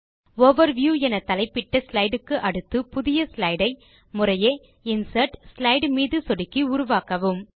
overview என தலைப்பிட்ட slide க்கு அடுத்து புதிய ஸ்லைடு ஐ முறையே இன்சர்ட் ஸ்லைடு மீது சொடுக்கி உருவாக்கவும்